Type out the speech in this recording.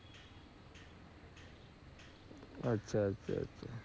আচ্ছা, আচ্ছা আছা।